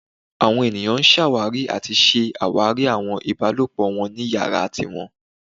Awọn eniyan ṣawari ati ṣe awari awọn ibalopọ wọn ni iyara tiwọn